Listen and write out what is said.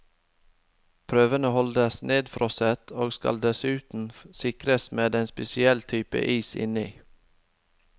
Prøvene holdes nedfrosset, og skal dessuten sikres med en spesiell type is inni.